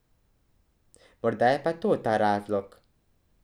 Morda je pa to ta razlog.